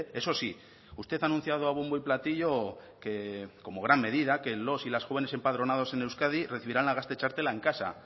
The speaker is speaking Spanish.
eso sí usted ha anunciado a bombo y platillo que como gran medida que los y las jóvenes empadronados en euskadi recibirán la gazte txartela en casa